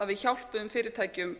að við hjálpuðum fyrirtækjum